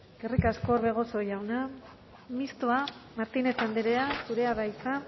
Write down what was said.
eskerrik asko orbegozo jauna mistoa martínez andrea zurea da hitza